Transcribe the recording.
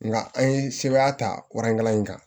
Nga an ye sebaaya ta waran in kan